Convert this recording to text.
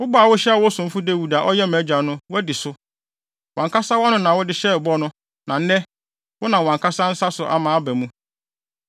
Wo bɔ a wohyɛɛ wo somfo Dawid a ɔyɛ mʼagya no, woadi so. Wʼankasa wʼano na wode hyɛɛ bɔ no, na nnɛ, wonam wʼankasa wo nsa so ama aba mu.